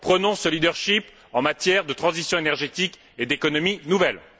Prenons ce leadership en matière de transition énergétique et d'économie nouvelle.